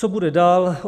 Co bude dál?